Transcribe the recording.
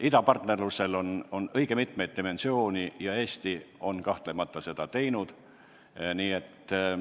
Idapartnerlusel on õige mitmeid dimensioone ja Eesti on sellesse kahtlemata panustanud.